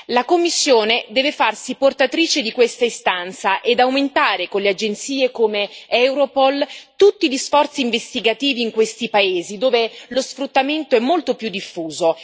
La Commissione deve farsi portatrice di questa istanza e aumentare, con le agenzie come Europol, tutti gli sforzi investigativi in quei paesi dove lo sfruttamento è molto più diffuso.